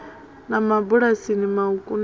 na mabulasi mauku na a